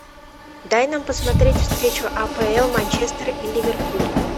дай нам посмотреть встречу апл манчестер и ливерпуль